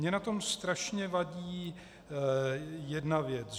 Mně na tom strašně vadí jedna věc.